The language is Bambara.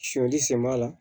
Sɔdi sen b'a la